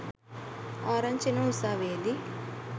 ආරංචි එනවා උසාවියේදී